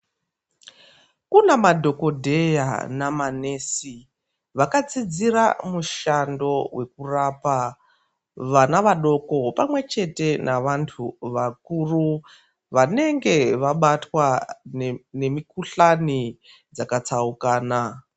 Kune madhokodheya nama nesi vakadzidzira mushando wekurapa vana vadoko pamwe chete nevantu vakuru vanenge vabatwa nemikuhlani dzakatsaukana.